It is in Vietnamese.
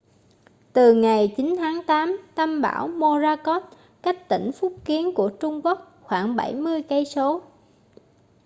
từ ngày 9 tháng tám tâm bão morakot cách tỉnh phúc kiến của trung quốc khoảng bảy mươi cây số